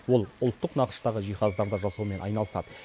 ол ұлттық нақыштағы жиһаздарды жасаумен айналысады